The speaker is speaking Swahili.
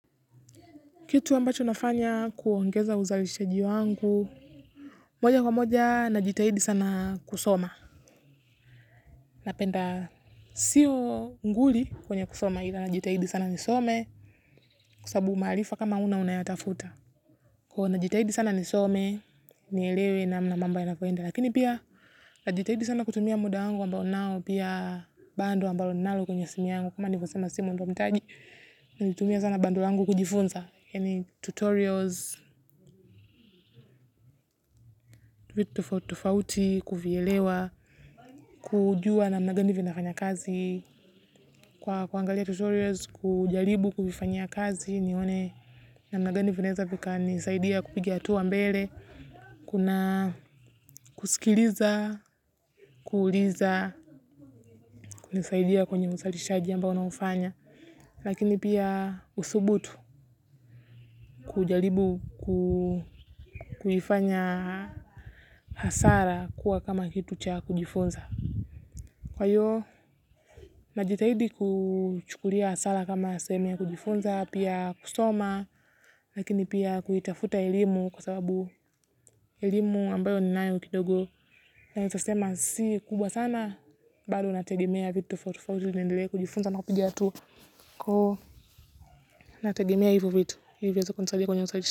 Kitu ambacho nafanya kuongeza uzalishaji wangu. Moja kwa moja najitahidi sana kusoma. Napenda siyo nguli kwenye kusoma ila najitahidi sana nisome kwasabu maalifa kama huna unayatafuta. Kuwa najitahidi sana nisome, nielewe na mnamambo yanavyoenda. Lakini pia najitahidi sana kutumia muda wangu ambao nao pia bando ambalo ninalo kwenye simu yangu. Kama nikusima simu ndo nitaji, najitumia sana bando langu kujifunza yaani. Tutorials, vitu tofauti tofauti, kuvielewa, kujua namna gani vinafanya kazi. Kwa kuangalia tutorials, kujaribu kuvifanyia kazi nione namna gani vinaeza vikanisaidia kupigia hatua mbele. Kuna kusikiliza, kuliza, kunisaidia kwenye usalishaji ambao naufanya. Lakini pia usubutu kujalibu kulifanya hasara kuwa kama kitu cha kujifunza. Kwa hiyo, najitahidi kuchukulia hasara kama sehemu ya kujifunza, pia kusoma, lakini pia kuitafuta elimu kwa sababu elimu ambayo ninanyo kidogo. Naezasema si kubwa sana, bado nategemea vitu tofauti tofauti niendelee kujifunza na kupiga hatua. Kwa hiyo, nategemea hivo vitu, ili viweze kunisaidia kwenye.